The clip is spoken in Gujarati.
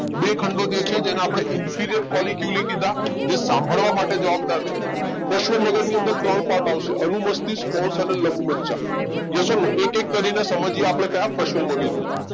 બે ખંડો જે છે એને આપડે inferior કોલી ક્યુલી કીધા જે સાંભળવા માટે જવાબદાર છે પશ્વ મગજ ની અંદર ત્રણ પાર્ટ આવશે અનુમસ્તિષ્ક, પોન્સ અને લંબમજ્જા Yes or No એક એક કરીને સમજીયે આપડે ક્યાં પશ્વ મગજ ને.